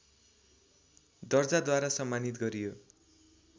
दर्जाद्वारा सम्मानित गरियो